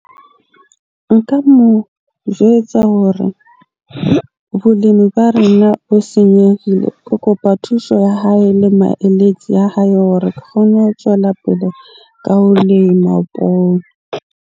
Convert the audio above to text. Nka mo jwetsa hore bolemi ba rena bo senyehile. Ke kopa thuso ya hae le maeletsi a hae hore ke kgone ho tjwela pele ka ho lema poone.